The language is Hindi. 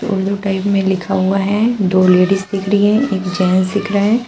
ब्लू टाइप में लिखा हुआ है दो लेडिस दिख रही है एक जेंट्स दिख रहा है।